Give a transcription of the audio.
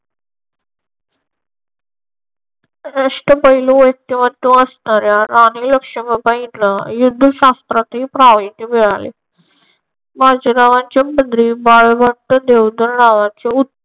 अष्टपैलू व्यक्तिमत्त्व असणार्‍या राणी लक्ष्मीबाईंना युद्धशास्त्रात हे प्राविण्य मिळाले. माझ्या गावाची नांद्रे बळवंत देवधर नावाचे उत्तम